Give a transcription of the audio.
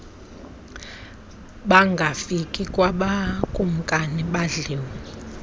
bangafike kwakumkani badliwe